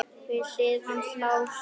Við hlið hans lá sokkur.